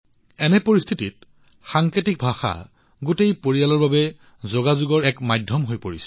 এনে পৰিপ্ৰেক্ষিতত সাংকেতিক ভাষা গোটেই পৰিয়ালৰ বাবে যোগাযোগৰ এক মাধ্যম হৈ পৰিছে